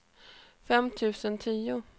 fem tusen tio